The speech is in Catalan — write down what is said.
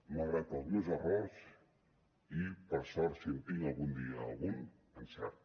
malgrat els meus errors i per sort si en tinc algun dia algun encert